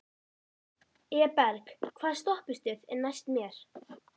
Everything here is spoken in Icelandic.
Eberg, hvaða stoppistöð er næst mér?